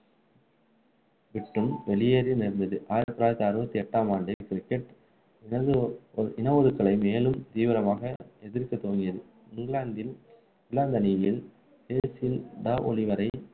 விட்டு வெளியேற நேர்ந்தது ஆயிரத்து தொள்ளாயிரத்து அறுபத்து எட்டாம் ஆண்டு cricket இன இன ஒதுக்கலை மேலும் தீவிரமாக எதிர்க்க துவங்கியது இங்கிலாந்தில் இங்கிலாந்து அணியில் பேசில் ட ஒலிவேரா